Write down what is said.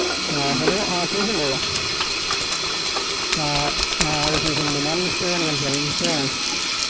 ആഹ് hello ആഹ് കേക്കിണ്ടോ ആഹ് ആഹ് അതെ കേക്കുന്നുണ്ട് ഞാൻ മുസ്തഫയാണ് സംസാരിക്കുന്നെ മുസ്തഫയാണ്